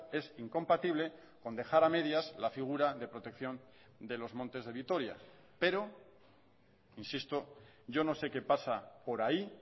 es incompatible con dejar a medias la figura de protección de los montes de vitoria pero insisto yo no sé qué pasa por ahí